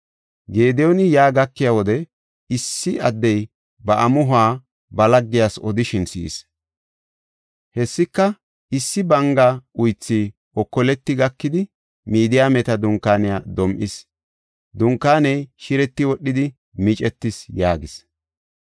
Gediyooni yaa gakiya wode issi addey ba amuhuwa ba laggiyas odishin si7is. Hessika, “Issi banga uythi okoleti gakidi Midiyaameta dunkaaniya dom7is; dunkaaney shireti wodhidi micetis” yaagis.